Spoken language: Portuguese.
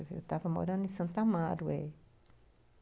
Eu estava morando em Santo Amaro